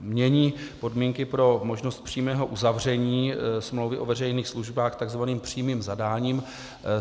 mění podmínky pro možnost přímého uzavření smlouvy o veřejných službách tzv. přímým zadáním.